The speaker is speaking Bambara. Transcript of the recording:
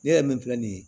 Ne yɛrɛ min filɛ nin ye